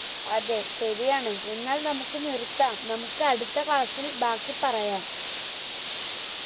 അതെ ശരിയാണ് എന്നാൽ നമുക്ക് നിർത്താം നമുക്ക് അടുത്ത class ഇൽ ബാക്കി പറയാം